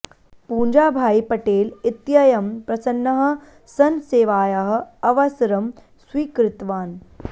पूंजाभाई पटेल इत्ययं प्रसन्नः सन् सेवायाः अवसरम् स्वीकृतवान्